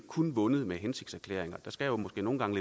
kun vundet med hensigtserklæringer der skal måske nogle gange